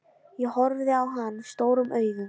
Ég horfi á hann stórum augum.